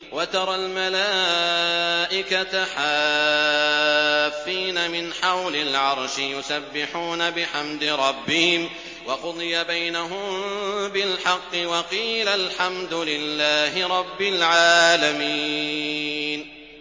وَتَرَى الْمَلَائِكَةَ حَافِّينَ مِنْ حَوْلِ الْعَرْشِ يُسَبِّحُونَ بِحَمْدِ رَبِّهِمْ ۖ وَقُضِيَ بَيْنَهُم بِالْحَقِّ وَقِيلَ الْحَمْدُ لِلَّهِ رَبِّ الْعَالَمِينَ